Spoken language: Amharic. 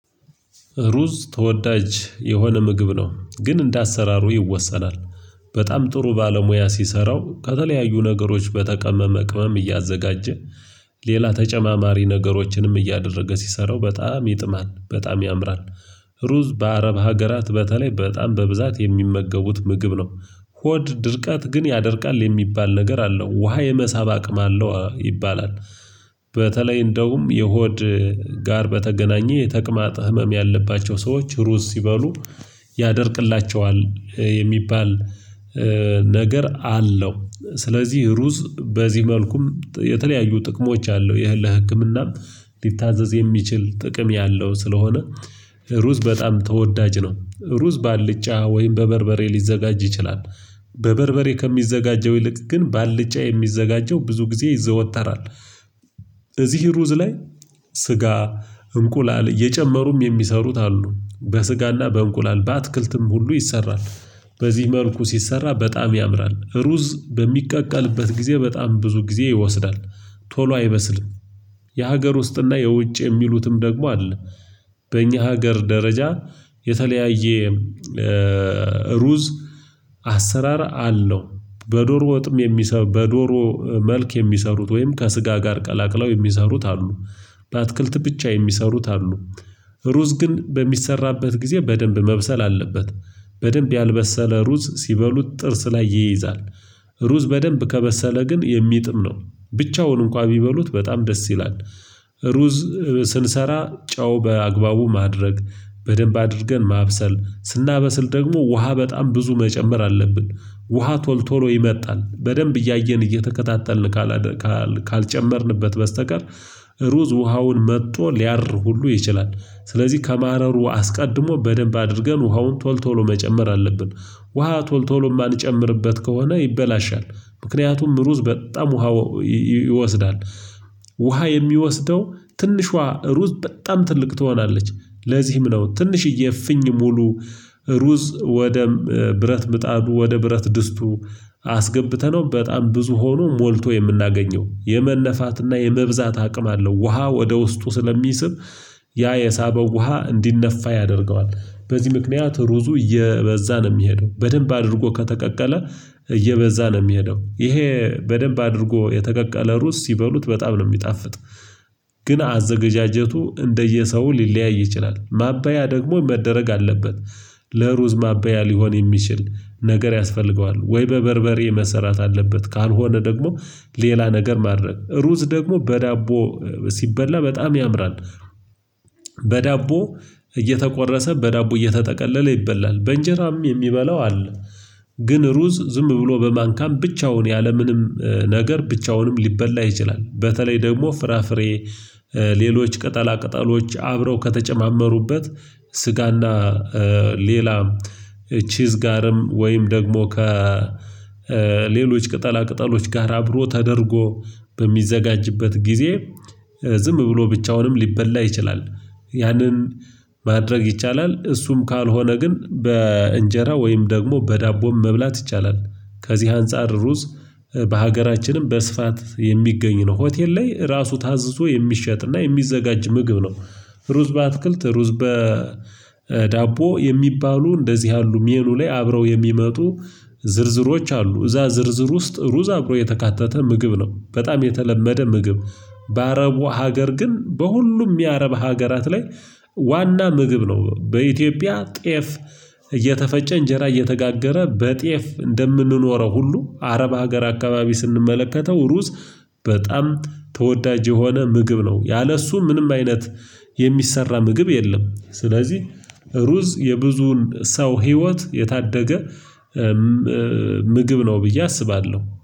ሩዝ ተወዳጅ የሆነ ምግብ ነው ግን እንደ አሰራሩ ይወሰናል። በጣም ጥሩ ባለሙያ ሲሰራው ከተለያዩ ነገሮች በተቀመመ ቅመም እያዘጋጀ ሌላ ተጨማማሪ ነገሮችንም እያደረገ ሲሰራው በጣም ይጥማል በጣም ያምራል። ሩዝ በአረብ ሀገራት በተለይ በጣም በብዛት የሚመገቡት ምግብ ነው። ሆድ ድርቀት ግን ያደርቃል የሚባል ነገር አለው ውሃ የመሳብ አቅም አለው ይባላል። በተለይ እንደውም የሆድ ጋር በተገናኘ የተቅማጥ ህመም ያለባቸው ሰዎች ሩዝ ሲበሉ ያደርቅላቸዋል የሚባል ነገር አለው። ስለዚህ ሩዝ በዚህ መልኩም የተለያዩ ጥቅሞች አለው የህ ለህክምናም ሊታዘዝ የሚችል ጥቅም ያለው ስለሆነ። ሩዝ በጣም ተወዳጅ ነው። ሩዝ ባልጫ ወይም በበርበሬ ሊዘጋጅ ይችላል በበርበሬ ከሚዘጋጀው ይልቅ ግን ባልጫ የሚዘጋጀው ብዙ ጊዜ ይዘወተራል። እዚህ ሩዝ ላይ ስጋ እንቁላል እየጨመሩም የሚሰሩት አሉ በስጋና በእንቁላል በአትክልትም ሁሉ ይሰራል። በዚህ መልኩ ሲሰራ በጣም ያምራል ሩዝ በሚቀቀልበት ጊዜ በጣም ብዙ ጊዜ ይወስዳል። ቶሎ አይበስልም። የሀገር ውስጥና የውጭ የሚሉትም ደግሞ አለ። በእኛ ሀገር ደረጃ የተለያየ ሩዝ አሰራር አለው። በዶሮ ወጥም የሚሰሩ በዶሮ መልክ የሚሰሩት ወይም ከስጋ ጋር ቀላቅለው የሚሰሩት አሉ። በአትክልት ብቻ የሚሰሩት አሉ። ሩዝ ግን በሚሰራበት ጊዜ በደንብ መብሰል አለበት። በደንብ ያልበሰለ ሩዝ ሲበሉት ጥርስ ላይ ይይዛል። ሩዝ በደንብ ከበሰለ ግን የሚጥም ነው። ብቻውን እንኳን ቢበሉት በጣም ደስ ይላል። ሩዝ ስንሰራ ጨው በአግባቡ ማድረግ በደንብ አድርገን ማብሰል ስናበስል ደግሞ ውሃ በጣም ብዙ መጨመር አለብን። ውሃ ቶሎ ቶሎ ይመጣል በደንብ እያየን እየተከታተልን ካላደል ካል ካልጨመርንበት በስተቀር። ሩዝ ውሃውን መጥቶ ሊያር ሁሉ ይችላል። ስለዚህ ከማረሩ አስቀድሞ በደንብ አድርገን ውሃውን ቶሎ ቶሎ መጨመር አለብን። ውሃ ቶሎ ቶሎ የማንጨምርበት ከሆነ ይበላሻል። ምክንያቱም ሩዝ በጣም ውሃ ይወስዳል። ውሃ የሚወስደው ትንሿ ሩዝ በጣም ትልቅ ትሆናለች። ለዚህም ነው ትንሽዬ እፍኝ ሙሉ ሩዝ ወደ ብረት ምጣዱ ወደ ብረት ድስቱ አስገብተነው በጣም ብዙ ሆኖ ሞልቶ የምናገኘው የመነፋትና የመብዛት አቅም አለው። ውሃ ወደ ውስጡ ስለሚስብ ያ የሳበው ውሃ እንዲነፋ ያደርገዋል። በዚህ ምክንያት ሩዙ እየበዛ ነው የሚሄደው። በደንብ አድርጎ ከተቀቀለ እየበዛ ነው የሚሄደው ይሄ በደንብ አድርጎ የተቀቀለ ሩዝ ሲበሉት በጣም ነው የሚጣፍጥ። ግን አዘገጃጀቱ እንደየሰው ሊለያይ ይችላል ማባያ ደግሞ መደረግ አለበት። ለሩዝ ማባያ ሊሆን የሚችል ነገር ያስፈልገዋል ወይ በበርበሬ መሰራት አለበት ካልሆነ ደግሞ ሌላ ነገር ማድረግ ሩዝ ደግሞ በዳቦ ሲበላ በጣም ያምራል። በዳቦ እየተቆረሰ በዳቦ እየተጠቀለለ ይበላል በእንጀራም የሚበላው አለ። ግን ሩዝ ዝም ብሎ በማንካም ብቻውን ያለምንም ነገር ብቻውንም ሊበላ ይችላል። በተለይ ደግሞ ፍራፍሬ ሌሎች ቅጠላ ቅጠሎች አብረው ከተጨማመሩበት ስጋና ሌላ ቺዝ ጋርም ወይም ደግሞ ከሌሎች ቅጠላ ቅጠሎች ጋር አብሮ ተደርጎ በሚዘጋጅበት ጊዜ ዝም ብሎ ብቻውንም ሊበላ ይችላል። ያንን ማድረግ ይቻላል እሱም ካልሆነ ግን በእንጀራ ወይም ደግሞ በዳቦም መብላት ይቻላል። ከዚህ አንፃር ሩዝ በሀገራችንም በስፋት የሚገኝ ነው ሆቴል ላይ ራሱ ታዞ የሚሸጥና የሚዘጋጅ ምግብ ነው። ሩዝ በአትክልት ሩዝ በዳቦ የሚባሉ እንደዚህ ያሉ ሜኑ ላይ አብረው የሚመጡ ዝርዝሮች አሉ። እዛ ዝርዝር ውስጥ ሩዝ አብሮ የተካተተ ምግብ ነው በጣም የተለመደ ምግብ። በአረቡ ሀገር ግን በሁሉም የአረብ ሀገራት ላይ ዋና ምግብ ነው። በኢትዮጵያ ጤፍ እየተፈጨ እንጀራ እየተጋገረ በጤፍ እንደምንኖረው ሁሉ አረብ ሀገር አካባቢ ስንመለከተው ሩዝ በጣም ተወዳጅ የሆነ ምግብ ነው። ያለ እሱ ምንም አይነት የሚሰራ ምግብ የለም። ስለዚህ ሩዝ የብዙን ሰው ህይወት የታደገ ምግብ ነው ብዬ አስባለሁ